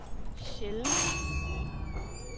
sjældent